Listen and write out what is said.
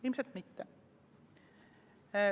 Ilmselt mitte.